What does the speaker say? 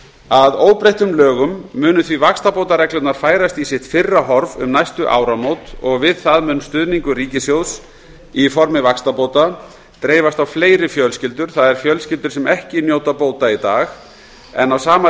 að óbreyttum lögum munu því vaxtabótareglurnar færast í sitt fyrra horf um næstu áramót og við það mun stuðningur ríkissjóðs í formi vaxtabóta dreifast á fleiri fjölskyldur það er fjölskyldur sem ekki njóta bóta í dag en á sama